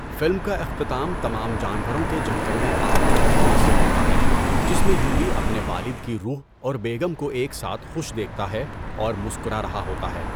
Film کا اختتام تمام جانوروں کے جنگل میں آباد ہونے سے ہوتا ہے، جس میں یووی اپنے والد کی روح اور بیگم کو ایک ساتھ خوش دیکھتا ہے اور مسکرا رہا ہوتا ہے۔